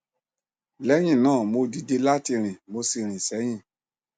lẹyìn náà mo dìde láti rìn mo sì rìn sẹyìn